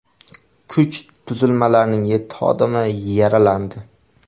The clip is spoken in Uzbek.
Kuch tuzilmalarining yetti xodimi yaralandi.